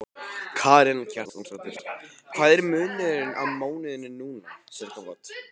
Karen Kjartansdóttir: Hvað er munurinn á mánuði núna, sirkabát?